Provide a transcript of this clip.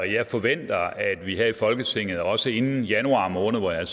jeg forventer at vi her i folketinget også inden januar måned hvor jeg